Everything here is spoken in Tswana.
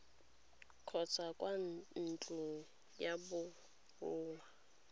kgotsa kwa ntlong ya borongwa